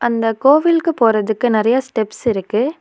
இந்த கோவிலுக்கு போறதுக்கு நெறைய ஸ்டெப்ஸ் இருக்கு.